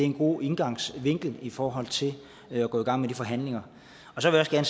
en god indgangsvinkel i forhold til at gå i gang med de forhandlinger så vil jeg